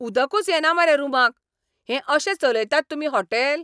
ऊदकूच येना मरे रुमाक. हें अशें चलयतात तुमी हॉटेल?